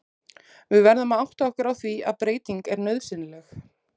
Við verðum að átta okkur á því að breyting er nauðsynleg.